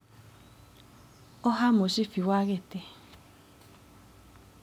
Oha mũcibi wa gĩtĩ.